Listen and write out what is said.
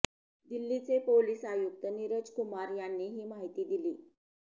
दिल्लीचे पोलिस आयुक्त नीरज कुमार यांनी ही माहिती दिली